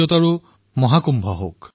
ৰাষ্ট্ৰীয় একতাৰ মহাকুম্ভ হওক